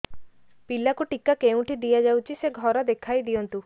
ପିଲାକୁ ଟିକା କେଉଁଠି ଦିଆଯାଉଛି ସେ ଘର ଦେଖାଇ ଦିଅନ୍ତୁ